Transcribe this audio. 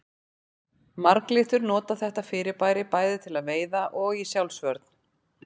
Marglyttur nota þetta fyrirbæri bæði til veiða og í sjálfsvörn.